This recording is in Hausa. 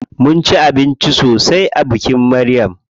Mun ci abinci sosai a bikin Maryam.